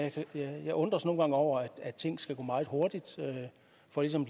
jeg undres nogle gange over at af ting skal gå meget hurtigt for ligesom at